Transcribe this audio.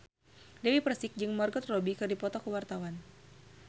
Dewi Persik jeung Margot Robbie keur dipoto ku wartawan